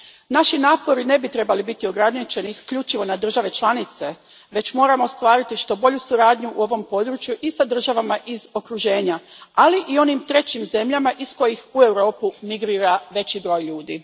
Naši napori ne bi trebali biti ograničeni isključivo na države članice, već moramo ostvariti što bolju suradnju u ovom području i s državama iz okruženja, ali i onim trećim zemljama iz kojih u Europu migrira veći broj ljudi.